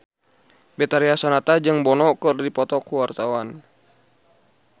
Betharia Sonata jeung Bono keur dipoto ku wartawan